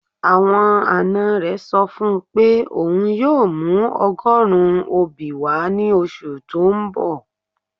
Awọn ańa rẹ sọ fun pe ọun yoo mù ọgọ̀run obi wa ni oṣù tó n bọ̀